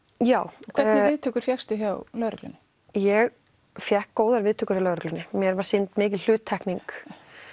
já hvernig viðtökur fékkstu hjá lögreglu ég fékk góðar viðtökur hjá lögreglunni mér var sýnd mikil hluttekning